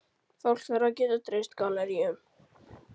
Fólk þarf að geta treyst galleríunum.